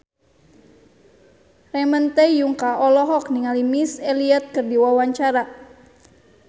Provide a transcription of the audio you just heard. Ramon T. Yungka olohok ningali Missy Elliott keur diwawancara